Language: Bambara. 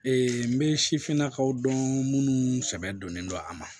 Ee n bɛ sifinnakaw dɔn minnu sɛbɛn donnen don a ma